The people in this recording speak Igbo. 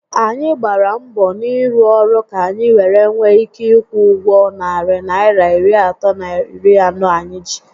Anyị gbàrà mbọ n'ịrụ ọrụ ka anyi were nwee ike ikwụ ụgwọ narị Naịra iri atọ na iri anọ anyị ji